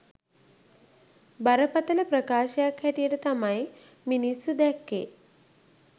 බරපතළ ප්‍රකාශයක් හැටියට තමයි මිනිස්සු දැක්කේ